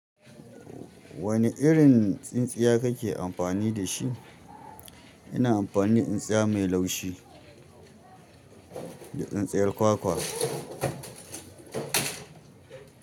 Wane irin tsintsiya kake amfani dashi ina amfani tsintsiya mai laushi da tsintsiyar kwakwa.